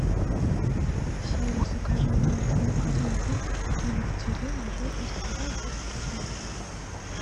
сири закажи молоко один литр домик в деревне жирность два и пять процентов